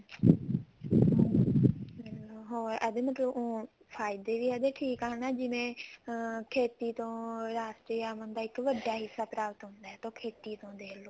ਹਮ ਇਹਦੇ ਮਤਲਬ ਉਹ ਫਾਇਦੇ ਵੀ ਇਹਦੇ ਠੀਕ ਆ ਹੁਣ ਜਿਵੇਂ ਅਮ ਖੇਤੀ ਤੋਂ ਰਾਸ਼ੀ ਦਾ ਇੱਕ ਵੱਡਾ ਹਿੱਸਾ ਪ੍ਰਾਪਤ ਹੁੰਦਾ ਇਹਤੋਂ ਖੇਤੀ ਤੋਂ ਦੇਖਲੋ